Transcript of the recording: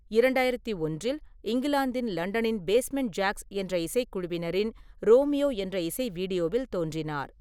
இரண்டாயிரத்தி ஒன்றில் இங்கிலாந்தின் லண்டனின் பேஸ்மென்ட் ஜாக்ஸ் என்ற இசைக்குழுவினரின் 'ரோமியோ' என்ற இசை வீடியோவில் தோன்றினார்.